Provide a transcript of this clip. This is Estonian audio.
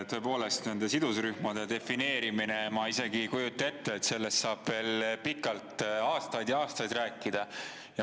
Tõepoolest, nende sidusrühmade defineerimine – ma isegi ei kujuta ette, sellest saab veel pikalt, aastaid ja aastaid rääkida.